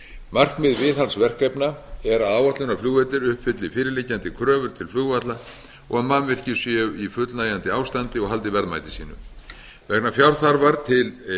markmið viðhaldsverkefna er að áætlunarflugvellir uppfylli fyrirliggjandi kröfur til flugvalla og að mannvirki séu í fullnægjandi ástandi og haldi verðmæti sínu vegna fjárþarfar til